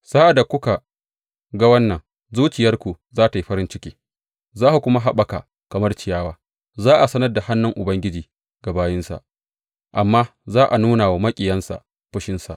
Sa’ad da kuka ga wannan, zuciyarku za tă yi farin ciki za ku kuma haɓaka kamar ciyawa; za a sanar da hannun Ubangiji ga bayinsa, amma za a nuna wa maƙiyansa fushinsa.